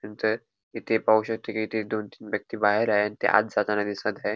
नंतर इथे पाहू शकतो की इथे दोन-तीन व्यक्ती बाहेर आहे ते आत जाताना दिसत आहे.